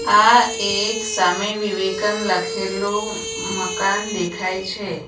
આ એક સામી વિવેકાન લખેલું મકાન દેખાય છે.